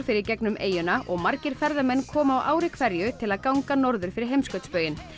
fer í gegnum eyjuna og margir ferðamenn koma á ári hverju til að ganga norður fyrir heimskautsbauginn